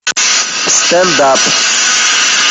стендап